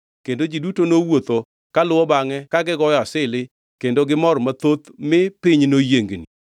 Kendo ji duto nowuotho kaluwo bangʼe ka gigoyo asili kendo gimor mathoth mi piny noyiengni.